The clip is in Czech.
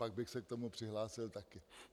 Pak bych se k tomu přihlásil také.